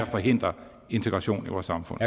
forhindrer integration i vores samfund